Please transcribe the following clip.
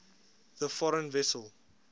the foreign vessel